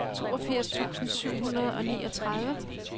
toogfirs tusind syv hundrede og niogtredive